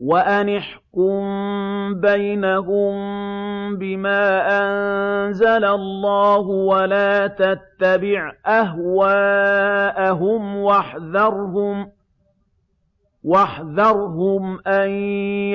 وَأَنِ احْكُم بَيْنَهُم بِمَا أَنزَلَ اللَّهُ وَلَا تَتَّبِعْ أَهْوَاءَهُمْ وَاحْذَرْهُمْ أَن